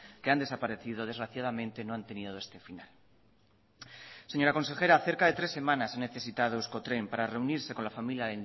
que han desaparecido desgraciadamente no han tenido este final señora consejera cerca de tres semanas ha necesitado euskotren para reunirse con la familia